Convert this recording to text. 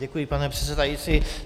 Děkuji, pane předsedající.